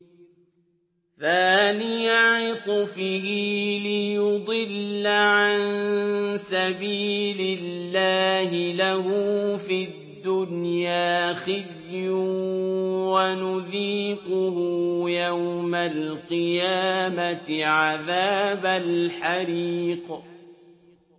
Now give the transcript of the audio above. ثَانِيَ عِطْفِهِ لِيُضِلَّ عَن سَبِيلِ اللَّهِ ۖ لَهُ فِي الدُّنْيَا خِزْيٌ ۖ وَنُذِيقُهُ يَوْمَ الْقِيَامَةِ عَذَابَ الْحَرِيقِ